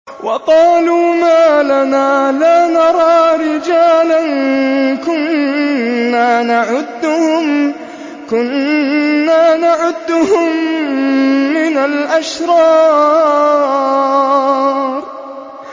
وَقَالُوا مَا لَنَا لَا نَرَىٰ رِجَالًا كُنَّا نَعُدُّهُم مِّنَ الْأَشْرَارِ